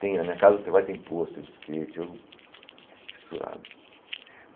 Tem, na minha casa você vai tem poster de skate, eu... fissurado.